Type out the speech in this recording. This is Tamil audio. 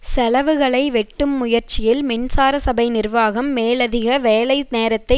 செலவுகளை வெட்டும் முயற்சியில் மின்சார சபை நிர்வாகம் மேலதிக வேலை நேரத்தை